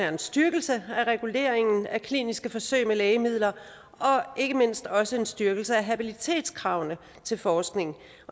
en styrkelse af reguleringen af kliniske forsøg med lægemidler og ikke mindst også en styrkelse af habilitetskravene til forskning